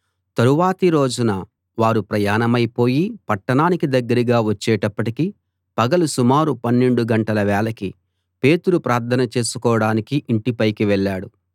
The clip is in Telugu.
తరువాతి రోజున వారు ప్రయాణమై పోయి పట్టణానికి దగ్గరగా వచ్చేటప్పటికి పగలు సుమారు పన్నెండు గంటల వేళకి పేతురు ప్రార్థన చేసుకోడానికి ఇంటి పైకి వెళ్ళాడు